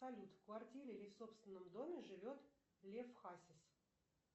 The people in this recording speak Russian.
салют в квартире или в собственном доме живет лев хасис